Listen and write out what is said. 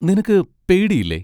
നിനക്ക് പേടിയില്ലേ?